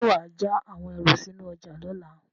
Ṣé wà á ja àwọn ẹrù sínú ọjà lọ́la?